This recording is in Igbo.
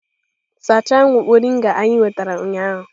Sachaa moringa anyị nwetara ụnyaahụ!